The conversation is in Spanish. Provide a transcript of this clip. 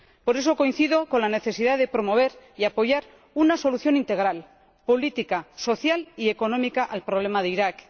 Por eso, coincido con la necesidad de promover y apoyar una solución integral —política, social y económica— al problema de Irak.